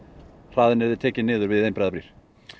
hraðinn yrði tekinn niður við einbreiðar brýr